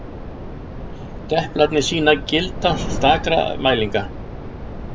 Deplarnir sýna gildi stakra mælinga.